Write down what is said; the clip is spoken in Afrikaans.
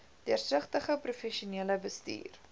deursigtige professionele bestuur